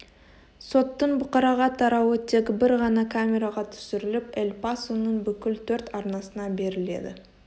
соттың бұқараға тарауы тек бір ғана камераға түсіріліп эль пасоның бүкіл төрт арнасына беріледі